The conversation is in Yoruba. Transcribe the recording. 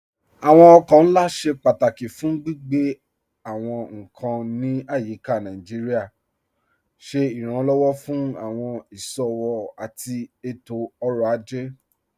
Awọn ọkọ̀ nlá ṣẹ pátákí fún gbigbe awọn nkan ní ayíká Naijíríà, ṣẹ iránlọ́wọ́ fún awọn iṣowo àti ètò-ọ̀rọ̀ ajẹ́.